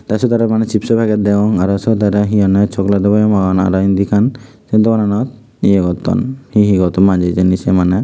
tey syot aro maneh chipso paget degong aro syot aro hihonye chogledo boyem agon aro indi ekkan sey dogan ye gotton hihi gotton manjey hijeni siye maneh.